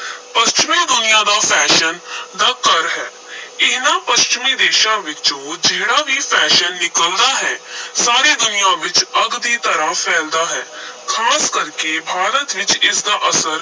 ਪੱਛਮੀ ਦੁਨੀਆਂ ਤਾਂ fashion ਦਾ ਘਰ ਹੈ ਇਨ੍ਹਾਂ ਪੱਛਮੀ ਦੇਸ਼ਾਂ ਵਿੱਚੋਂ ਜਿਹੜਾ ਵੀ fashion ਨਿਕਲਦਾ ਹੈ ਸਾਰੀ ਦੁਨੀਆਂ ਵਿਚ ਅੱਗ ਦੀ ਤਰ੍ਹਾਂ ਫੈਲਦਾ ਹੈ ਖਾਸ ਕਰਕੇ ਭਾਰਤ ਵਿਚ ਇਸ ਦਾ ਅਸਰ